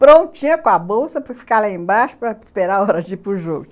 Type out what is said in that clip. Prontinha com a bolsa para ficar lá embaixo para esperar a hora de ir para o jogo.